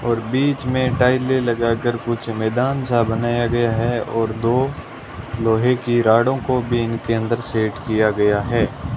और बीच में टाइले लगाकर कुछ मैदान सा बनाया गया है और दो लोहे की रॉडो को बिन के अंदर सेट किया गया है।